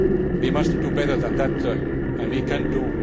We must do better than that and we can